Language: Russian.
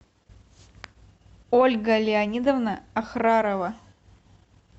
ольга леонидовна охрарова